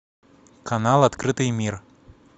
канал открытый мир